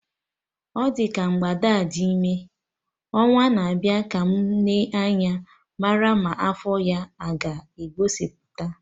Ọ dị ka mgbada a dị ime, ọnwa na-abịa ka mụ Nee anya marụ ma afọ ya aga egosipụta